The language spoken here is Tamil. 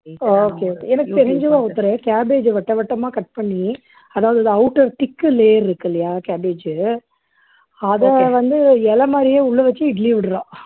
okay okay எனக்கு தெரிஞ்சு ஒருத்தரு cabbage அ வட்ட வட்டமா cut பண்ணி அதாவது அது outer thick layer இருக்கு இல்லையா cabbage உ அதை வந்து இலை மாதிரி உள்ள வச்சு இட்லி விடுறா